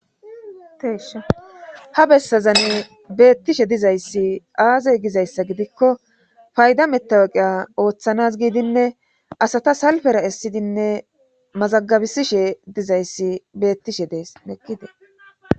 teeshoha bessazan beettishe dizayssi aazey gizayssa gidikko fayda metawaqiya ooththanas giidinne asata salfera essidinne mazagabisishe dizayssi beettishe dees neqqite